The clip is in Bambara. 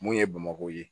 Mun ye bamakɔ ye